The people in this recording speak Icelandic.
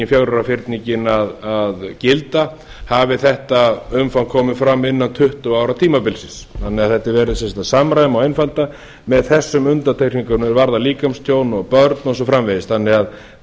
fjögurra ára fyrningin að gilda hafi þetta umfang komið fram innan tuttugu ára tímabilsins þannig að það er verið að samræma og einfalda með þessum undantekningum er varða líkamstjón og börn og svo framvegis þannig að